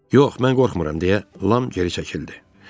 Yox, mən qorxmuram, deyə Lam geri çəkildi.